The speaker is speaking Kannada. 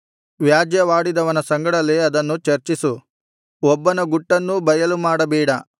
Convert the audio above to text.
ವ್ಯಾಜ್ಯವಾಡಿದವನ ಸಂಗಡಲೇ ಅದನ್ನು ಚರ್ಚಿಸು ಒಬ್ಬನ ಗುಟ್ಟನ್ನೂ ಬಯಲುಮಾಡಬೇಡ